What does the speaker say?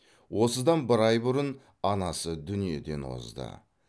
осыдан бір ай бұрын анасы дүниеден озды